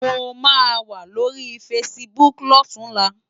Mó má wá lóri fásibúk lòtúnlá